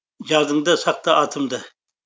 жадыңда сақта атымды